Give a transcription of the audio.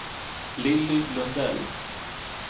Lilly Lundell